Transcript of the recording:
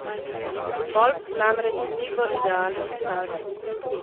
Stolp namreč ni v idealnem stanju.